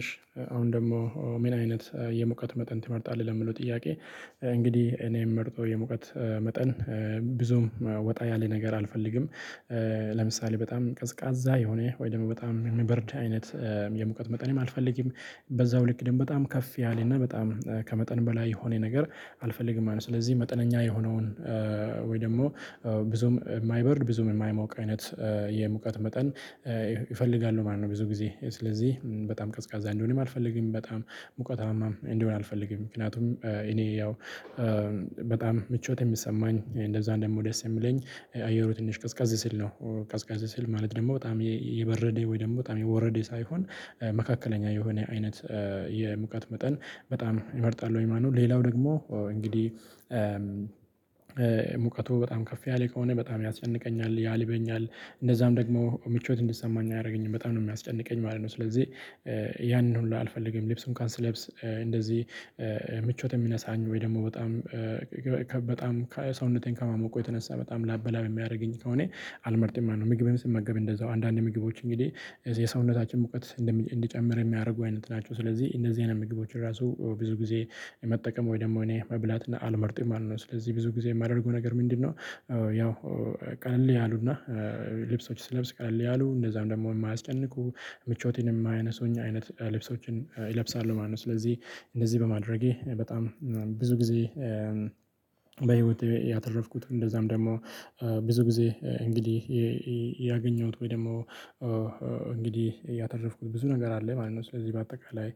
እሺ አሁን ደግሞ ምን አይነት የሙቀት መጠን ትመርጣለህ ለሚለው ጥያቄ እንግዲህ እኔ የምመርጠው የሙቀት መጠን ብዙም ወጣ ያለ ነገር አልፈልግም። ለምሳሌ በጣም ቀዝቃዛ የሆነ ወይ ደግሞ በጣም የሚበርድ አይነት የሙቀት መጠን አልፈልግም። በዛው ልክ ደግሞ በጣም ከፍ ያለ እና በጣም ከመጠን በላይ የሆነ ነገር አልፈልግም ማለት ነው። ስለዚህ መጠነኛ የሆነውን ወይ ደግሞ ብዙም የማይበርድ ብዙም የማይሞቅ አይነት የሙቀት መጠን ይፈልጋሉ ማለት ነው ብዙ ጊዜ ስለዚህ በጣም ቀዝቃዛ እንዲሆንም አልፈልግም በጣም እውቀታማም እንዲሆን አልፈልግም። ምክንያቱም እኔ ያው ምቾት የሚሰማኝ እንደዛ እንደምወደስ የሚለኝ አየሩ ትንሽ ቀዝቀዝ ሲል ነው። ቀዝቀዝ ሲል ማለት ደግሞ በጣም የበረደ ወይ ደግሞ በጣም የወረደ ሳይሆን መካከለኛ የሆነ አይነት የሙቀት መጠን በጣም ይመርጣል። ወይ ማነው ሌላው ደግሞ እንግዲህ ሙቀቱ በጣም ከፍ ያለ ከሆነ በጣም ያስጨንቀኛል ያልበኛል እንደዛም ደግሞ ምቾት እንዲሰማኝ አያደርገኝም በጣም ነው የሚያስጨንቀኝ ማለት ነው። ስለዚህ ያንን ሁሉ አልፈልግም። ልብስ እንኳን ስለ ልብስ እንደዚህ የሚነሳኝ ወይ ደግሞ በጣም በጣም ሰውነቴን ከማሞቆ የተነሳ በጣም ላበላብ የሚያደርገኝ ከሆነ አልመርጥም ነው። ምግቤም ስመገብ እንደዛው አንዳንድ ምግቦች እንግዲህ የሰውነታችን ሙቀት እንዲጨምር የሚያደርጉ አይነት ናቸው። ስለዚህ እንደዚህ አይነት ምግቦችን ራሱ ብዙ ጊዜ መጠቀም ወይ ደግሞ እኔ መብላት እና አልመርጥም ማለት ነው። ስለዚህ ብዙ ጊዜ የማደርገው ነገር ምንድነው? ቀለል ያሉና ልብሶች ስለብስ ቀለል ያሉ እንደዛም ደግሞ የማያስጨንቁ ምቾቴን የማይነሱኝ አይነት ልብሶችን እለብሳለሁ ማለት ነው። ስለዚህ እንደዚህ በማድረጌ በጣም ብዙ ጊዜ በህይወቴ ያተረፍኩት እንደዛም ደግሞ ብዙ ጊዜ እንግዲህ ያገኘሁት ወይ ደግሞ እንግዲህ ያተረፍኩት ብዙ ነገር አለ ማለት ነው። ስለዚህ በአጠቃላይ